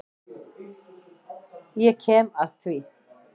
Ég kem að því.